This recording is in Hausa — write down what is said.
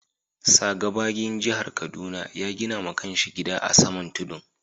Sa. Gbagyin jihar Kaduna ya gina ma kan shi gida a'saman tudun.